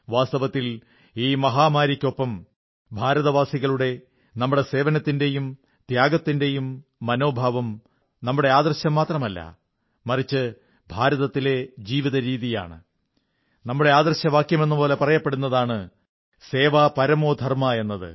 വാസ്തവത്തിൽ ഈ മഹാമാരിക്കൊപ്പം ഭാരതവാസികളുടെ നമ്മുടെ സേവനത്തിന്റെയും ത്യാഗത്തിന്റെയും മനോഭാവം നമ്മുടെ ആദർശം മാത്രമല്ല മറിച്ച് ഭാരതത്തിലെ ജീവിതരീതിയാണ് നമ്മുടെ ആദർശവാക്യമെന്നപോലെ പറയപ്പെടുന്നതാണ് സേവാ പരമോ ധർമ്മഃ എന്നത്